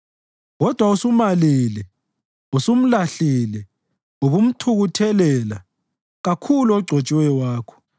Kodwa usumalile, usumlahlile, ubumthukuthelela kakhulu ogcotshiweyo wakho.